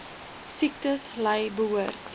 siektes ly behoort